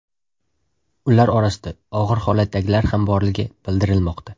Ular orasida og‘ir holatdagilar ham borligi bildirilmoqda.